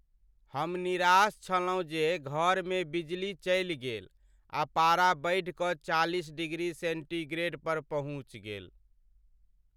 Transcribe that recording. हम निराश छलहुँ जे घरमे बिजली चलि गेल आ पारा बढ़ि कऽ चालिस डिग्री सेन्टीग्रेडपर पहुँचि गेल।